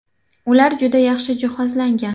Ular juda yaxshi jihozlangan.